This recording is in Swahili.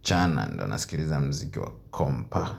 Mchana ndio nasikiliza muziki wa kompa.